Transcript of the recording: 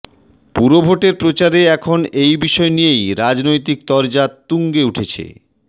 পুর ভোটের প্রচারে এখন এই বিষয় নিয়েই রাজনৈতিক তরজা তুঙ্গে উঠেছে